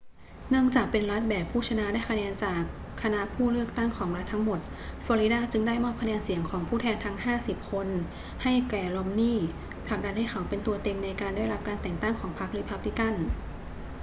เนื่องจากเป็นรัฐแบบผู้ชนะได้คะแนนจากคณะผู้เลือกตั้งของรัฐทั้งหมด ฟลอริดาจึงได้มอบคะแนนเสียงของผู้แทนทั้งห้าสิบคนให้แก่รอมนีย์ ผลักดันให้เขาเป็นตัวเต็งในการได้รับแต่งตั้งของพรรครีพับลิกัน